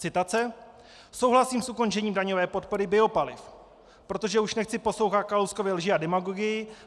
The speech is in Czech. Citace: "Souhlasím s ukončením daňové podpory biopaliv, protože už nechci poslouchat Kalouskovy lži a demagogii.